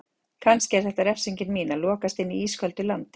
Kannski er þetta refsingin mín: Að lokast inni í ísköldu landi.